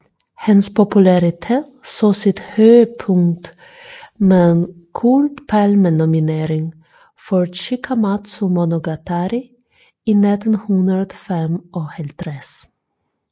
Hans popularitet så sit højdepunkt med en Guldpalmenominering for Chikamatsu monogatari i 1955